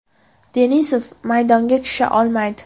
Denisov maydonga tusha olmaydi.